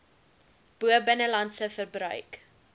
bo binnelandse verbruik